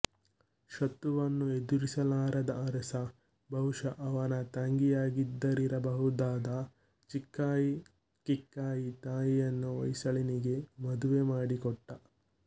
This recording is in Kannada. ಶತ್ರುವನ್ನು ಎದುರಿಸಲಾರದ ಅರಸ ಬಹುಶಃ ಅವನ ತಂಗಿಯಾಗಿದ್ದರಿರಬಹುದಾದ ಚಿಕ್ಕಾಯಿ ಕಿಕ್ಕಾಯಿ ತಾಯಿಯನ್ನು ಹೊಯ್ಸಳನಿಗೆ ಮದುವೆ ಮಾಡಿಕೊಟ್ಟ